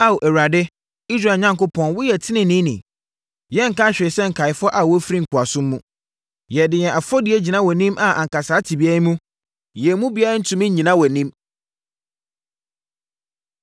Ao Awurade, Israel Onyankopɔn woyɛ teneneeni. Yɛnka hwee sɛ nkaeɛfoɔ a wɔafiri nkoasom mu. Yɛde yɛn afɔdie gyina wʼanim a anka saa tebea yi mu, yɛn mu biara rentumi nnyina wʼanim.”